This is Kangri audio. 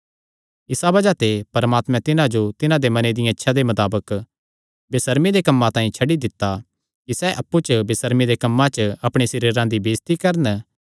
इसा बज़ाह ते परमात्मैं तिन्हां जो तिन्हां दे मने दिया इच्छां दे मताबक बेसर्मी दे कम्मां तांई छड्डी दित्ता कि सैह़ अप्पु च बेसर्मी दे कम्मां च अपणे सरीरां दी बेइज्जती करन